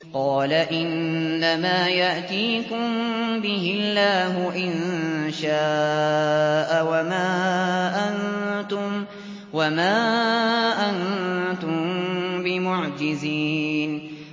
قَالَ إِنَّمَا يَأْتِيكُم بِهِ اللَّهُ إِن شَاءَ وَمَا أَنتُم بِمُعْجِزِينَ